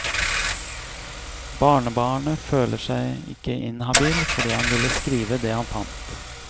Barnebarnet føler seg ikke inhabil, fordi han ville skrive det han fant.